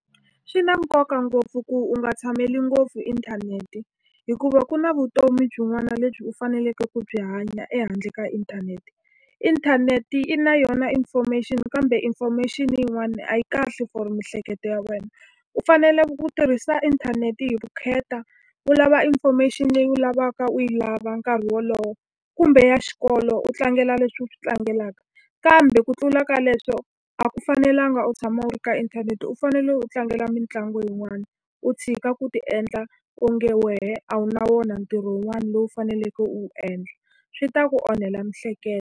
Swi na nkoka ngopfu ku u nga tshameli ngopfu inthanete, hikuva ku na vutomi byin'wana lebyi u faneleke ku byi hanya ehandle ka inthanete. Inthanete yi na yona information kambe information-i yin'wana a yi kahle for miehleketo ya wena. U fanele ku tirhisa inthanete hi vukheta, u lava information leyi u lavaka u yi lava nkarhi wolowo, kumbe ya xikolo u tlangela leswi u swi tlangelaka. Kambe ku tlula ka leswo a ku fanelanga u tshama u ri ka inthanete. U fanele u tlangela mitlangu yin'wana, u tshika ku ti endla onge wena a wu na wona ntirho wun'wana lowu u faneleke u wu endla. Swi ta ku onhela miehleketo.